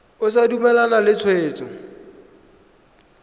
o sa dumalane le tshwetso